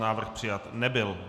Návrh přijat nebyl.